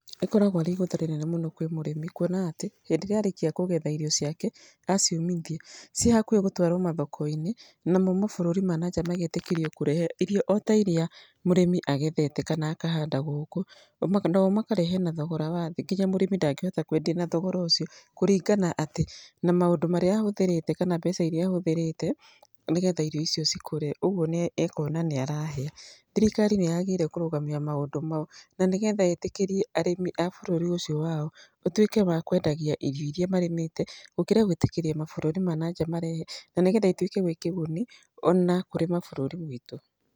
Ĩkoragwo arĩ igũtha rĩnene mũno kwĩ mũrĩmi, kuona atĩ hĩndĩ ĩrĩa arĩkia kũgetha irio ciake, aciũmithia, ciĩ hakuhĩ gũtwarwo mathoko-inĩ, namo mabũrũri ma na nja magetĩkĩrio kũrehe irio o ta irĩa mũrĩmi agethete, kana akahanda gũkũ, nao makarehe na thogora wa thĩ, ngina mũrĩmi ndangĩkota kwendia na thogora ũcio, kũringana atĩ na maũndũ marĩa ahũthĩrĩte kana mbeca irĩa ahũthĩrĩte, nĩgetha irio icio ikũre. Ũguo nĩ ekuona nĩ arahĩa. Thirikari nĩ yagĩrĩire kũrũgamia maũndũ mau. Na nĩgetha ĩtĩkĩrie arĩmi a bũrũri ũcio wao, matuĩke wa kwendagia irio irĩa marĩmĩte, gũkĩra gwĩtĩkĩria mabũrũri ma na nja marehe. Na nĩgetha ituĩke gwĩ kĩguni ona kũrĩ mabũrũri maitũ.